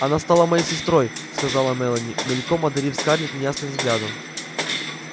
она стала моей сестрой сказала мелани мельком одарив скарлетт неясным взглядом